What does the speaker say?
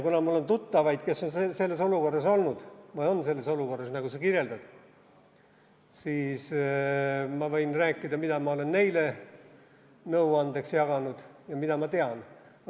Kuna mul on tuttavaid, kes on selles olukorras olnud või on praegu selles olukorras, nagu sa kirjeldad, siis ma võin rääkida, mida ma olen neile nõuandeks öelnud ja mida ma tean.